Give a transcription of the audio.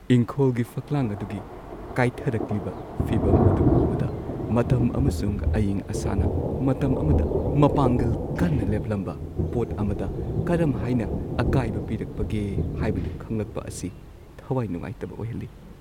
ꯏꯪꯈꯣꯜꯒꯤ ꯐꯛꯂꯥꯡ ꯑꯗꯨꯒꯤ ꯀꯥꯏꯊꯔꯛꯂꯤꯕ ꯐꯤꯕꯝ ꯑꯗꯨ ꯎꯕꯗ, ꯃꯇꯝ ꯑꯃꯁꯨꯡ ꯑꯏꯪ-ꯑꯁꯥꯅ ꯃꯇꯝ ꯑꯃꯗ ꯃꯄꯥꯡꯒꯜ ꯀꯟꯅ ꯂꯦꯞꯂꯝꯕ ꯄꯣꯠ ꯑꯃꯗ ꯀꯔꯝꯍꯥꯏꯅ ꯑꯀꯥꯏꯕ ꯄꯤꯔꯛꯄꯒꯦ ꯍꯥꯏꯕꯗꯨ ꯈꯪꯂꯛꯄ ꯑꯁꯤ ꯊꯋꯥꯏ ꯅꯨꯡꯉꯥꯏꯇꯕ ꯑꯣꯏꯍꯜꯂꯤ꯫